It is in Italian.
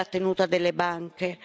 sondare la tenuta delle banche